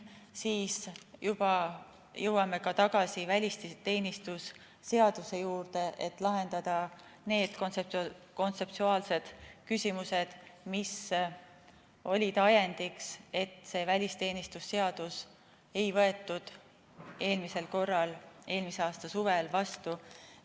Seejärel jõuame tagasi välisteenistuse seaduse juurde, et lahendada need kontseptuaalsed küsimused, mis olid ajendiks, et seda välisteenistuse seadust ei võetud eelmisel korral, eelmise aasta suvel vastu.